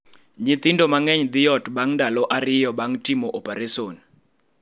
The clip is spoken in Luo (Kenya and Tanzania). Nyithindo mang�eny dhi ot bang� ndalo ariyo bang� timo opereson.